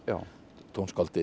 tónskáldið